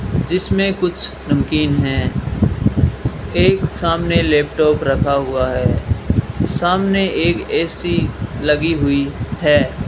जिसमें कुछ नमकीन हैं एक सामने लैपटॉप रखा हुआ है सामने एक ए_सी लगी हुई है।